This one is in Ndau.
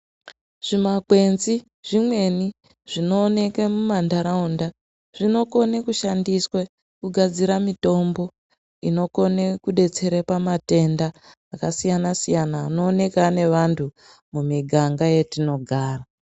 Zvimakwenzi zvimweni zvinooneke mumantaraunda zvinokone kushandiswe kugadzire mitombo inokone kudetsere pamatenda akasiyana siyana anooneka ane vantu mumiganga yetinogara.